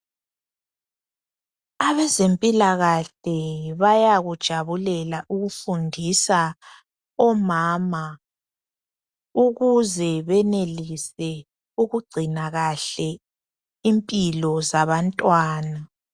Abezempilakahle bayakujabulela ukufundisa omama, ukuze benelise ukugcina kahle impilo zabantwana.